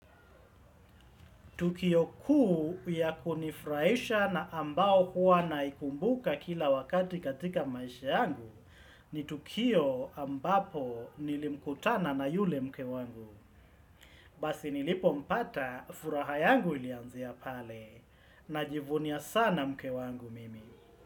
Tukio kuu ya kunifurahisha na ambao huwa naikumbuka kila wakati katika maisha yangu ni tukio ambapo nilikutana na yule mke wangu. Basi nilipompata furaha yangu ilianzia pale najivunia sana mke wangu mimi.